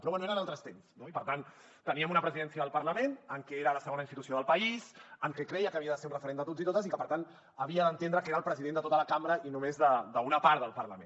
però bé eren altres temps no i per tant teníem una presidència del parlament que era la segona institució del país que creia que havia de ser un referent de tots i totes i que per tant havia d’entendre que era el president de tota la cambra i no només d’una part del parlament